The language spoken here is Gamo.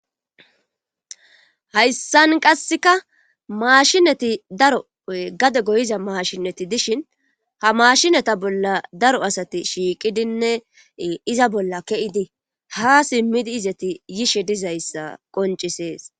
hayssan qasseka maashinati daro gade goyiza maashinati dishin ha maashinata bolla daro asati shiiqidinne iza bolla keidi ha simmidi izati yishe dizayssa qoncisees